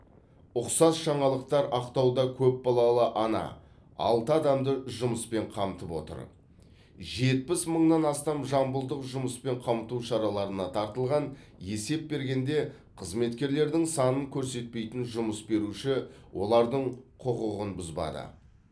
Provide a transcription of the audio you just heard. ұқсас жаңалықтар ақтауда көпбалалы ана алты адамды жұмыспен қамтып отыр жетпіс мыңнан астам жамбылдық жұмыспен қамту шараларына тартылған есеп бергенде қызметкерлердің санын көрсетпейтін жұмыс беруші олардың құқығын бұзады